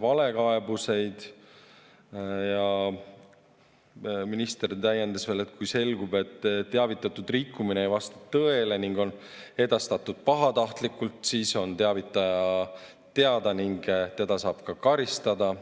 valekaebusi, siis minister täiendas, et kui selgub, et teavitatud rikkumine ei vasta tõele ning on edastatud pahatahtlikult, siis on teavitaja teada ning teda saab ka karistada.